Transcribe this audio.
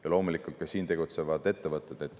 Ja loomulikult, ka siin tegutsevad ettevõtted.